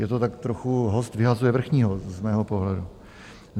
Je to tak trochu "host vyhazuje vrchního" z mého pohledu.